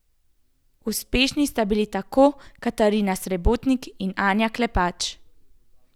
Uspešni sta bili tako Katarina Srebotnik kot Andreja Klepač.